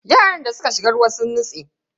Yaran da suka shiga ruwa sun nutse.